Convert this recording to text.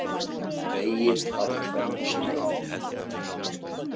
Vegið að kvennastörfum